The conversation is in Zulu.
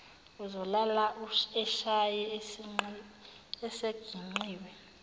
uzolala eshaye esingeqiwa